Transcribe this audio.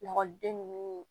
Lakɔliden ninnu